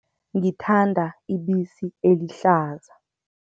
Ngithanda ibisi elihlaza.